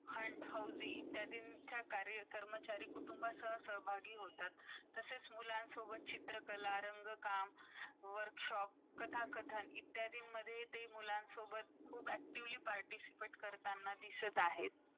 fun housy ,त्याजन च्या कर्मचारी सहभागी होतात तसेच मुलांन सोबत चित्रकला ,रंग काम , workshop , कथा -कथा इतका ते मुलान सोबत खुप actively participate करताना दिसत आहेत .